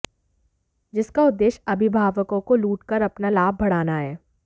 जिसका उद्देश्य अभिभावकों को लूट कर अपना लाभ बढ़ाना है